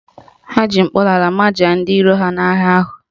Ha ji mkpọnala majaa ndị iro ha n'agha ahụ